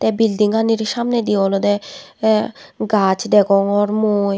ey bildinganir samnedi olode e gaz degongor mui.